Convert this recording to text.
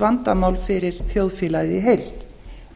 vandamál fyrir þjóðfélagið í heild